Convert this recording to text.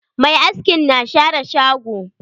Mai askin na share shago.